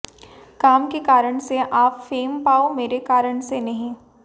काम के कारण से आप फेम पाओ मेरे कारण से नहीं